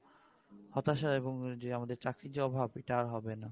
হতাশা এবং আমাদের চাকরির যে অভাব সেটা আর হবে না